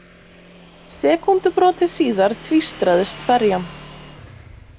Sekúndubroti síðar tvístraðist ferjan.